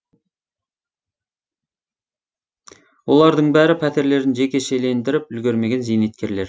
олардың бәрі пәтерлерін жекешелендіріп үлгермеген зейнеткерлер